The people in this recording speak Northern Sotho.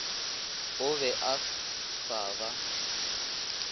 o be a sa ba